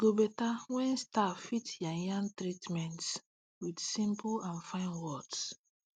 e go better when staff fit yarn yarn treatments with simple and fine words